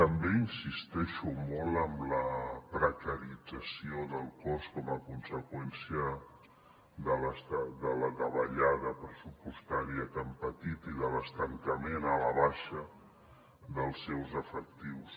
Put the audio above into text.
també insisteixo molt en la precarització del cos com a conseqüència de la davallada pressupostària que han patit i de l’estancament a la baixa dels seus efectius